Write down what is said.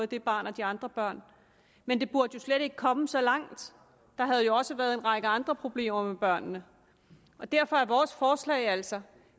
det barn og de andre børn men det burde slet ikke komme så langt der havde jo også været en række andre problemer med børnene derfor er vores forslag altså